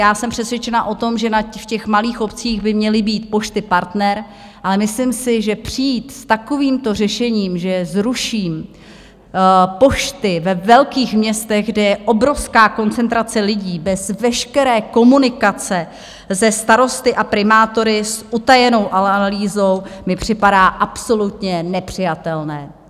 Já jsem přesvědčena o tom, že na těch malých obcích by měly být Pošty Partner, ale myslím si, že přijít s takovýmto řešením, že zruším pošty ve velkých městech, kde je obrovská koncentrace lidí, bez veškeré komunikace se starosty a primátory, s utajenou analýzou, mi připadá absolutně nepřijatelné.